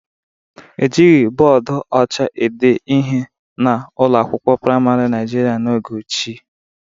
Ejighị bọọdụ ọcha ede ihe n'ụlọ akwụkwọ praịmarị Naijiria n'oge ochie